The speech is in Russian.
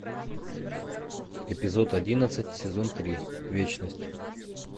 эпизод одиннадцать сезон три вечность